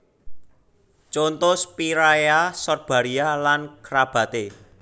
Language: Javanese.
Conto Spiraea Sorbaria lan kerabaté